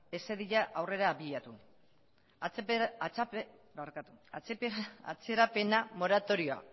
ez zedila aurrera abiatu atzerapen moratorioa